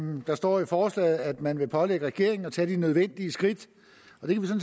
der står i forslaget at man vil pålægge regeringen at tage de nødvendige skridt og det kan